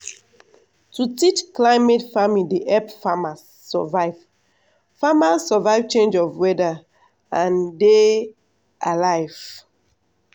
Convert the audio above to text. to teach climate farming dey help farmers survive farmers survive change of weather and dey alive.